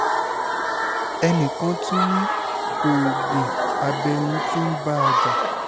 ẹnìkan tún ni ogun abẹ́nú tí ń bá a jà